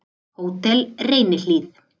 Hótel Reynihlíð